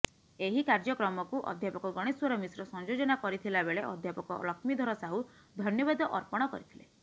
ଏହି କାର୍ଯ୍ୟକ୍ରମକୁ ଅଧ୍ୟାପକ ଗଣେଶ୍ୱର ମିଶ୍ର ସଂଯୋଜନା କରିଥିଲାବେଳେ ଅଧ୍ୟାପକ ଲକ୍ଷ୍ମୀଧର ସାହୁ ଧନ୍ୟବାଦ ଅର୍ପଣ କରିଥିଲେ